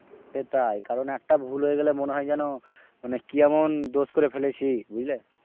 সেটাই কারন একটা ভুল হয়ে গেলে মনে হয় যেন মানে কি এমন দোষ করে ফেলেছি বুঝলে।